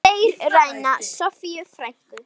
Þeir ræna Soffíu frænku.